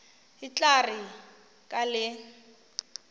e tla re ka le